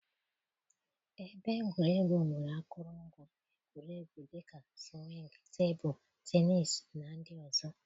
Ebe egwuregwu nwere akụrụngwa egwuregwu dị ka sụwingii, tebụl tenisii, na ndị ọzọ.